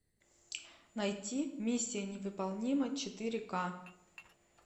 найти миссия невыполнима четыре к